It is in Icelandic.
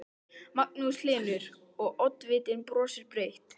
Magnús Hlynur: Og, oddvitinn brosir breytt?